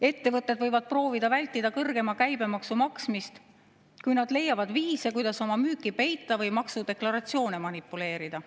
Ettevõtted võivad proovida vältida kõrgema käibemaksu maksmist, kui nad leiavad viise, kuidas oma müüki peita või maksudeklaratsioonidega manipuleerida.